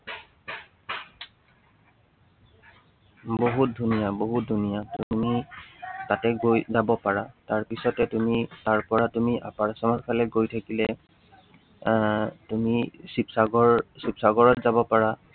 বহুত ধুনীয়া, বহুত ধুনীয়া। তুমি তাতে গৈ যাব পাৰা। তাৰপিছতে তুমি, তাৰপৰা তুমি upper Assam ৰ ফালে গৈ থাকিলে, আহ তুমি শিৱসাগৰ, শিৱসাগৰত যাব পাৰা